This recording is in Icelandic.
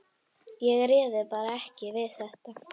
Ég réði bara ekki við þetta.